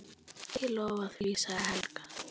Ég lofa því, sagði Helga.